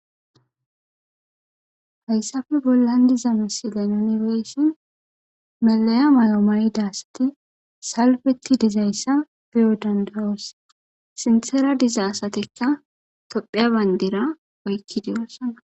Haysappe bollan deyiza misilen nuni beyishin melleya mayo mayida asati salfettidaysa beyo danddaos sinthara deyiza asatika tophiya bandira oykidosona